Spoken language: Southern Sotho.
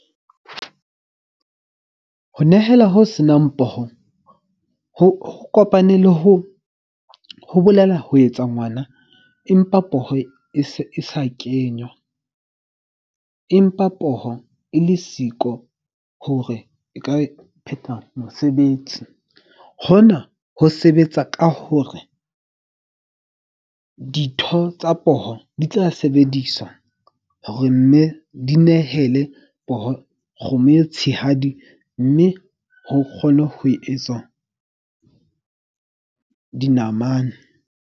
Ho nehela ho senang poho ho kopane le hoo ho bolela ho etsa ngwana. Empa poho e se e sa kenywa, empa poho e le siko hore e ka e phetha mosebetsi. Hona ho sebetsa ka hore ditho tsa poho di tsa sebediswa hore mme, di nehele kgomo e tshehadi mme ho kgone ho etsa dinamane.